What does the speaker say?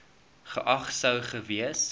geag sou gewees